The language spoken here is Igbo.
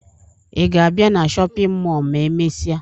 Ị ga-abịa na shọpịn mọọ ma emesịa?